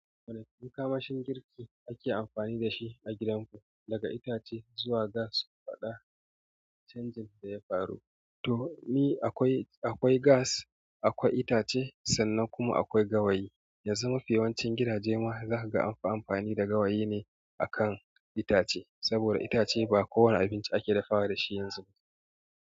Wane makamashin girki ake amfani da shi a gidanku, daga itace zuwa gas? Ku faɗa canjin da ya faru. To ni akwai, akwai gas, akwai itace sannan kuma akwai gawayi. Yanzu mafi yawancin gidaje ma za ka ga anfi amfani da gawayi ne a kan itace. Saboda itace ba kowane abinci ake dafawa da shi yanzu ba.